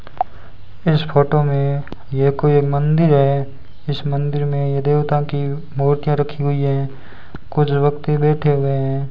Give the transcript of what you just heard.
इस फोटो में ये कोई एक मंदिर है इस मंदिर में ये देवता की मूर्तियां रखी हुई है कुछ वक्ति बैठे हुए हैं।